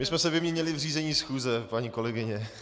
My jsme se vyměnili v řízení schůze, paní kolegyně.